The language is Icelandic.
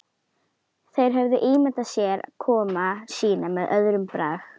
Þeir höfðu ímyndað sér komu sína með öðrum brag.